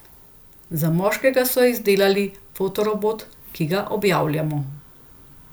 Za moškega so izdelali fotorobot, ki ga objavljamo.